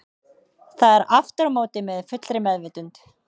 Það er aftur á móti með fullri meðvitund.